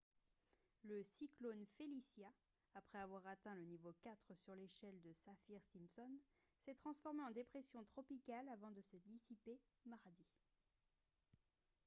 le cyclone felicia après avoir atteint le niveau 4 sur l'échelle de saffir-simpson s'est transformé en dépression tropicale avant de se dissiper mardi